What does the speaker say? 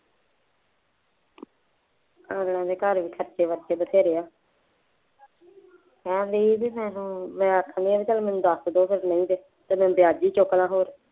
ਅਗਲਿਆਂ ਦੇ ਘਰ ਵੀ ਖਰਚੇ ਬਰਚੇ ਬਥੇਰੇ ਹੈ, ਕਹਿਣ ਦੇ ਸੀ ਮੈਨੂੰ ਮੈਂ ਰੱਖਦੀ ਹਾਂ ਚੱਲੋ ਮੈਨੂੰ ਦੱਸ ਦਿਉ ਕਦੋਂ ਤੱਕ ਨਹੀਂ loan ਤਾਂ ਅੱਜ ਵੀ ਚੁੱਕ ਲਾਂ ਹੋਰ